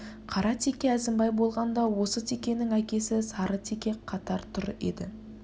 қара теке әзімбай болғанда осы текенің әкесі сары теке қатар тұр еді